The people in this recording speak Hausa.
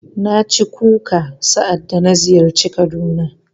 Na ci kuka sa'adda na ziyarci Kaduna.